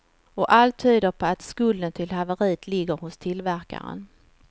Och allt tyder på att skulden till haveriet ligger hos tillverkaren.